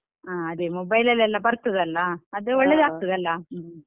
ಹ ಅದೇ mobile ಲಲ್ಲೆಲ್ಲಾ ಬರ್ತದಲ್ಲಾ ಅದೇ ಒಲ್ಲದಾಗ್ತದಲ್ಲಾ ಹ್ಮ್.